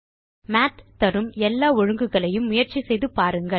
மாத் தரும் எல்லா ஒழுங்குகளையும் முயற்சி செய்து காணுங்கள்